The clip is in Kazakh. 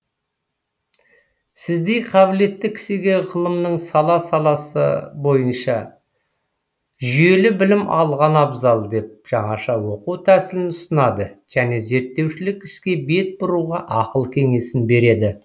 сіздей қабілетті кісіге ғылымның сала саласы бойынша жүйелі білім алған абзал деп жаңаша оқу тәсілін ұсынады және зерттеушілік іске бет бұруға ақыл кеңесін береді